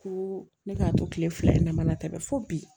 Ko ne k'a to kile fila in na ma tɛ dɛ fo bi